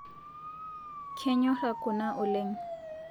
Kenyora kuna oleng